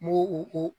N'u ko